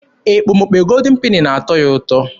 Ekpomekpo Goldin Peni na-atọ ya ụtọ.